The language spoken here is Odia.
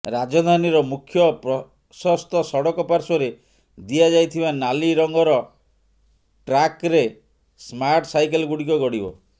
ରାଜଧାନୀର ମୁଖ୍ୟ ପ୍ରସସ୍ଥ ସଡ଼କ ପାର୍ଶ୍ୱରେ ଦିଆଯାଇଥିବା ନାଲି ରଙ୍ଗର ଟ୍ରାକ୍ରେ ସ୍ମାର୍ଟ ସାଇକେଲଗୁଡ଼ିକ ଗଡ଼ିବ